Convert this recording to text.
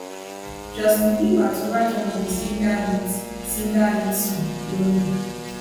justin bieber to write one of di singer hit singer hit song lonely